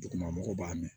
Duguma mɔgɔw b'a mɛn